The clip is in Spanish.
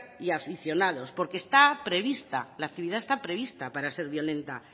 y aficionados porque la actividad está prevista para ser violenta